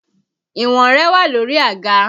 Ìwọ̀n rẹ wà lórí àga